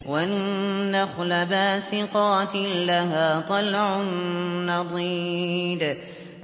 وَالنَّخْلَ بَاسِقَاتٍ لَّهَا طَلْعٌ نَّضِيدٌ